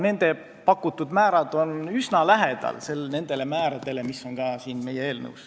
Nende pakutud määrad on üsna lähedal nendele määradele, mis on ka meie eelnõus.